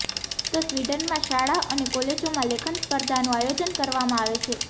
તો સ્વીડનમાં શાળા અને કોલેજોમાં લેખન સ્પર્ધાનું આયોજન કરવામાં આવે છે